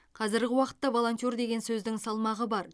қазіргі уақытта волонтер деген сөздің салмағы бар